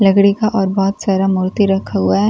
लकड़ी का और बहोत सारा मूर्ति रखा हुआ है।